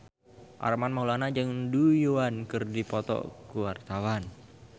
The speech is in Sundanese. Armand Maulana jeung Du Juan keur dipoto ku wartawan